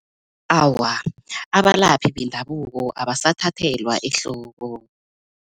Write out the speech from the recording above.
Awa, abalaphi bendabuko abasathathelwa ehloko.